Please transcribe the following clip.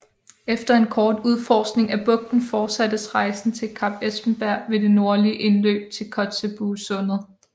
Efter en kort udforskning af bugten fortsattes rejsen til Kap Espenberg ved det nordlige indløb til Kotzebuesundet